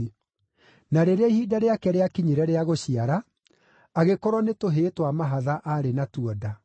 Na rĩrĩa ihinda rĩake rĩakinyire rĩa gũciara, agĩkorwo nĩ tũhĩĩ twa mahatha aarĩ natuo nda.